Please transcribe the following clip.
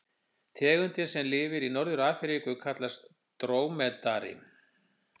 Tegundin sem lifir í Norður-Afríku kallast drómedari.